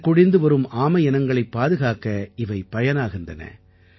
வழக்கொழிந்து வரும் ஆமையினங்களைப் பாதுகாக்க இவை பயனாகின்றன